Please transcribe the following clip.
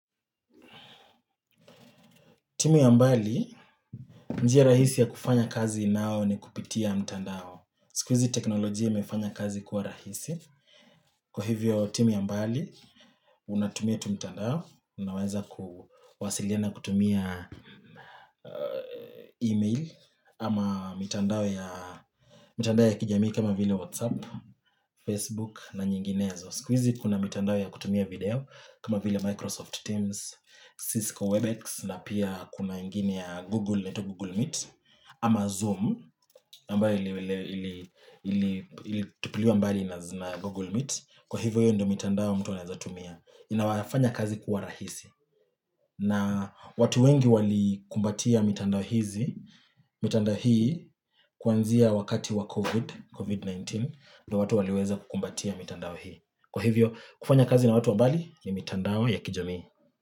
Timu ya mbali, njia rahisi ya kufanya kazi nao ni kupitia mtandao. Sikwizi teknolojia imefanya kazi kuwa rahisi. Kwa hivyo timu ya mbali, unatumia tu mtandao. Unaweza kuwasiliana kutumia email ama mtandao ya kijamii kama vile WhatsApp, Facebook na nyinginezo. Sikwizi kuna mitandao ya kutumia video kama vile Microsoft Teams, Cisco WebEx na pia kuna ingini ya Google, inaitwa Google Meet Ama Zoom, mbali ili tupiliwa mbali na Google Meet Kwa hivyo hivyo ndo mitandao mtu waneza tumia Inawafanya kazi kuwa rahisi na watu wengi wali kumbatia mitandao hizi, mitandao hii kwanzia wakati wa COVID-19 ndo watu waliweza kukumbatia mitandao hii Kwa hivyo, kufanya kazi na watu wabali ni mitandao ya kijami.